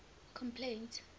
complaints